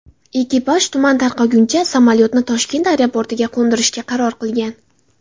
Ekipaj tuman tarqaguncha samolyotni Toshkent aeroportiga qo‘ndirishga qaror qilgan.